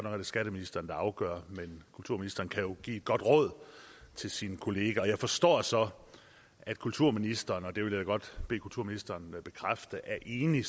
er det skatteministeren der afgør men kulturministeren kan jo give et godt råd til sin kollega og jeg forstår så at kulturministeren og det vil jeg godt bede kulturministeren bekræfte er enig